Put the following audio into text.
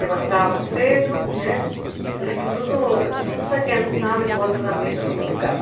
Levantávamos cedo, né eu lembro tudo todos a criançada em volta da mesa tomando